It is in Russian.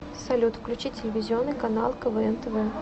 салют включи телевизионный канал квн тв